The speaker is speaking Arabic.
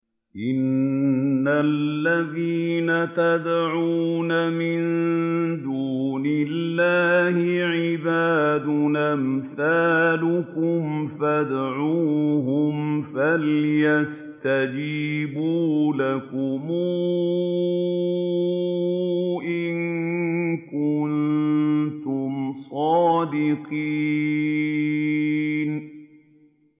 إِنَّ الَّذِينَ تَدْعُونَ مِن دُونِ اللَّهِ عِبَادٌ أَمْثَالُكُمْ ۖ فَادْعُوهُمْ فَلْيَسْتَجِيبُوا لَكُمْ إِن كُنتُمْ صَادِقِينَ